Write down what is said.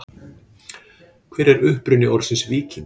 Hver er uppruni orðsins víkingur?